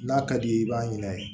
N'a ka di i ye i b'a ɲin'a ye